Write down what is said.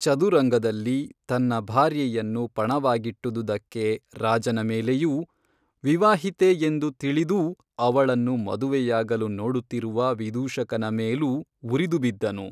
ಚದುರಂಗದಲ್ಲಿ ತನ್ನ ಭಾರ್ಯೆಯನ್ನು ಪಣವಾಗಿಟ್ಟುದುದಕ್ಕೆ ರಾಜನ ಮೇಲೆಯೂ ವಿವಾಹಿತೆ ಎಂದು ತಿಳಿದೂ ಅವಳನ್ನು ಮದುವೆಯಾಗಲು ನೋಡುತ್ತಿರುವ ವಿದೂಷಕನ ಮೇಲೂ ಉರಿದುಬಿದ್ದನು